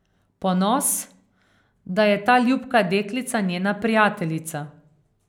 Ponos, da je ta ljubka deklica njena prijateljica.